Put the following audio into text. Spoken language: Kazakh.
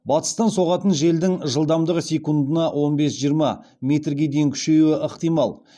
батыстан соғатын желдің жылдамдығы секундына он бес жиырма метрге дейін күшеюі ықтимал